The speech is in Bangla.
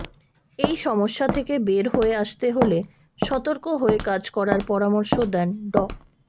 এই সমস্যা থেকে বের হয়ে আসতে হলে সতর্ক হয়ে কাজ করার পরামর্শ দেন ড